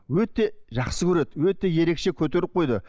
өте жақсы көреді өте ерекше көтеріп қойды